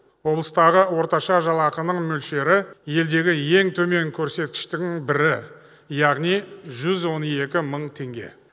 облыстағы орташа жалақының мөлшері елдегі ең төмен көрсеткіштің бірі яғни жүз он екі мың теңге